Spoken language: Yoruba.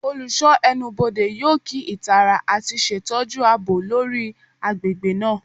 Olusho Ẹnubodè yoo kii itara ati ṣetọju aabo lori agbegbe naa